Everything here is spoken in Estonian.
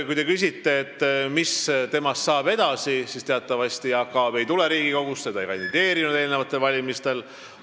Kui te küsite, mis saab temast edasi, siis teatavasti Jaak Aab ei tule Riigikogusse, ta ei kandideerinud eelmistel valimistel.